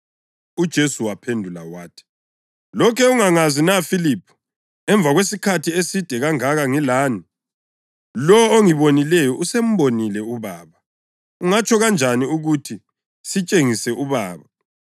UJesu waphendula wathi, “Lokhe ungangazi na Filiphu, emva kwesikhathi eside kangaka ngilani? Lowo ongibonileyo usembonile uBaba. Ungatsho kanjani ukuthi, ‘Sitshengise uBaba’?